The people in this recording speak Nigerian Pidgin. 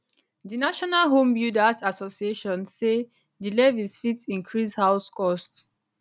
di national homebuilders association say di levies fit increase house cost